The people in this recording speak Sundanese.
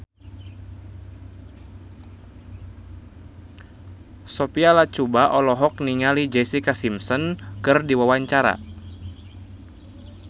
Sophia Latjuba olohok ningali Jessica Simpson keur diwawancara